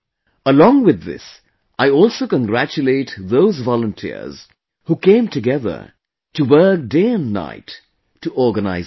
Along with this, I also congratulate those volunteers, who came together to work day and night to organize this